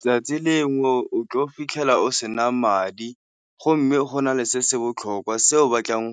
Tsatsi lengwe o tlo fitlhela o sena madi go mme go na le se se botlhokwa se o batlang